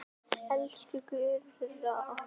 Elsku Gurra okkar.